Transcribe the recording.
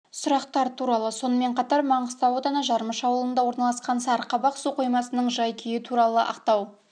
сұрақтар туралы сонымен қатар маңғыстау ауданы жармыш ауылында орналасқан сарықабақ су қоймасының жай-күйі туралы ақтау